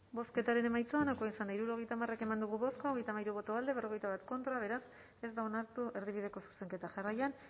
bozketaren emaitza onako izan da hirurogeita hamar eman dugu bozka hogeita hamairu boto alde cuarenta y uno contra beraz ez da onartu erdibideko zuzenketa jarraian